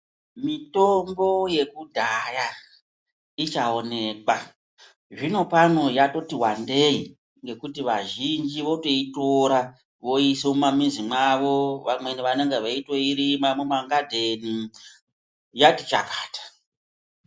Mitombo yekudhaya ichaonekwa. Zvino pano yatoti wandei ngekuti vazhinji votoitora voiise mumamwizi mwavo. Vamweni vanonga veitoirima mumangadheni, yati chakata.